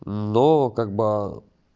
ну как бы